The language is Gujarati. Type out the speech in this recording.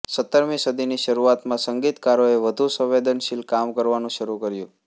સત્તરમી સદીની શરૂઆતમાં સંગીતકારોએ વધુ સંવેદનશીલ કામ કરવાનું શરૂ કર્યું